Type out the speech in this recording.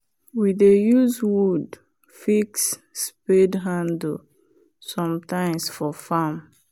we dey use wood fix spade handle sometimes for farm